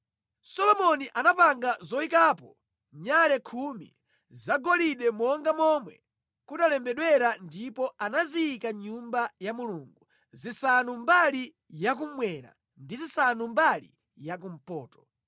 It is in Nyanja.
Solomoni anapanga zoyikapo nyale khumi zagolide monga momwe kunalembedwera ndipo anaziyika mʼNyumba ya Mulungu, zisanu mbali ya kummwera, ndi zisanu mbali ya kumpoto.